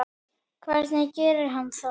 Hvernig gerir hann það?